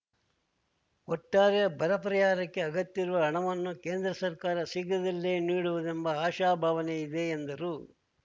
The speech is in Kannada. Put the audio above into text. ಒಟ್ಟಾರೆ ಬರ ಪರಿಹಾರಕ್ಕೆ ಅಗತ್ಯವಿರುವ ಹಣವನ್ನು ಕೇಂದ್ರ ಸರ್ಕಾರ ಶೀಘ್ರದಲ್ಲೇ ನೀಡುವುದೆಂಬ ಆಶಾಭಾವನೆ ಇದೆ ಎಂದರು